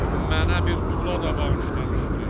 Mənə bir tula da bağışlamışdı.